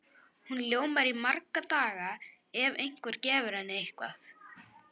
Hún ljómar í marga daga ef einhver gefur henni eitthvað.